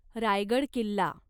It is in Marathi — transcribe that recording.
रायगड किल्ला